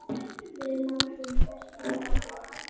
Við látum verkin tala!